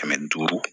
Kɛmɛ duuru